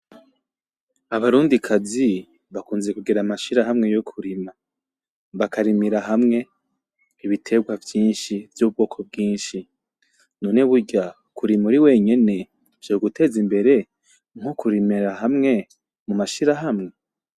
Abarundikazi bakunze kugira amashirahamwe yo kurima, bakarimira hamwe ibiterwa vyinshi vy'ubwoko bwinshi. None burya, kurima uri wenyene vyoguteza imbere nko kurimira hamwe mumashirahamwe?